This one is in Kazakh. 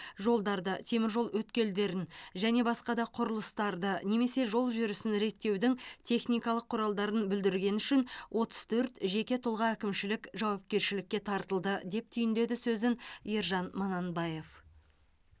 жолдарды теміржол өткелдерін және басқа да құрылыстарды немесе жол жүрісін реттеудің техникалық құралдарын бүлдіргені үшін отыз төрт жеке тұлға әкімшілік жауапкершілікке тартылды деп түйіндеді сөзін ержан мананбаев